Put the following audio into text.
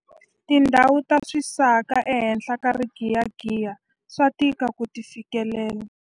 Tindhawu ta swisaka ehenhla ka rigiyagiya swa tika ku ti fikelela.